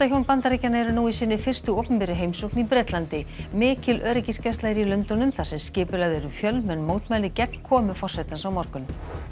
Bandaríkjanna eru nú í sinni fyrstu opinberu heimsókn í Bretlandi mikil öryggisgæsla er í Lundúnum þar sem skipulögð eru fjölmenn mótmæli gegn komu forsetans á morgun